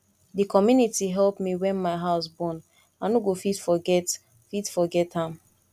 di community help me wen my house burn i no go fit forget fit forget am